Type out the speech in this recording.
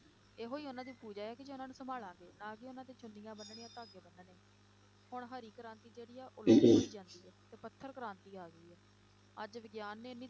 ਇਹੋ ਹੀ ਉਹਨਾਂ ਦੀ ਪੂਜਾ ਹੈ ਕਿ ਜੇ ਉਹਨਾਂ ਨੂੰ ਸੰਭਾਲਾਂਗੇ, ਨਾ ਕੇ ਉਹਨਾਂ ਤੇ ਚੁੰਨੀਆਂ ਬੰਨਣੀਆਂ ਧਾਗੇ ਬੰਨਣੇ, ਹੁਣ ਹਰੀ ਕ੍ਰਾਂਤੀ ਜਿਹੜੀ ਆ ਤੇ ਪੱਥਰ ਕ੍ਰਾਂਤੀ ਆ ਗਈ ਹੈ, ਅੱਜ ਵਿਗਿਆਨ ਨੇ ਇੰਨੀ